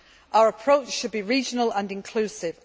Our approach should be regional and inclusive.